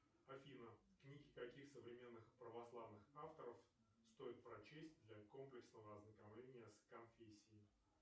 афина книги каких современных православных авторов стоит прочесть для комплексного ознакомления с конфессией